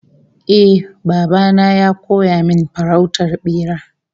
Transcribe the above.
Eh, baba na ya koya min farautar bera